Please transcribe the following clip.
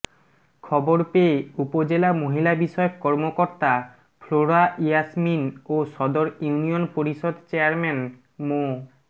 খবর পেয়ে উপজেলা মহিলাবিষয়ক কর্মকর্তা ফ্লোরা ইয়াসমিন ও সদর ইউনিয়ন পরিষদ চেয়ারম্যান মো